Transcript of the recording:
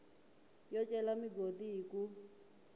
yo cela migodi hi ku